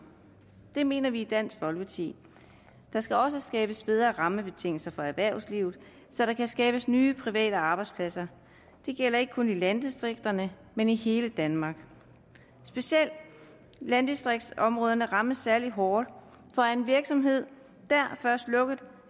det mener vi i dansk folkeparti der skal også skabes bedre rammebetingelser for erhvervslivet så der kan skabes nye private arbejdspladser det gælder ikke kun i landdistrikterne men i hele danmark specielt landdistriktsområderne rammes særlig hårdt for er en virksomhed dér først lukket